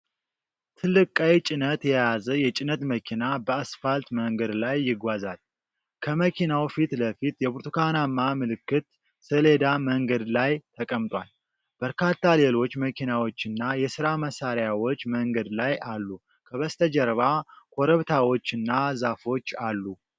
ትልቅ ቀይ ጭነት የያዘ የጭነት መኪና በአስፓልት መንገድ ላይ ይጓዛል። ከመኪናው ፊት ለፊት የብርቱካናማ ምልክት ሰሌዳ መንገድ ላይ ተቀምጧል። በርካታ ሌሎች መኪናዎችና የሥራ መሣሪያዎች መንገድ ላይ አሉ። ከበስተጀርባ ኮረብታዎችና ዛፎች አሉ።